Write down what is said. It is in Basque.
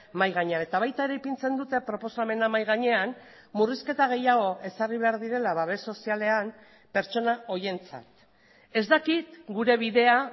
mahai gainean eta baita ere ipintzen dute proposamena mahai gainean murrizketa gehiago ezarri behar direla babes sozialean pertsona horientzat ez dakit gure bidea